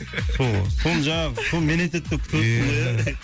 сол ғой соны жаңағы соны мен айтады деп күтіп отырсың ғой ия